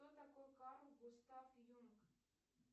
кто такой карл густав юнг